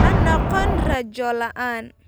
Ha noqon rajo la'aan.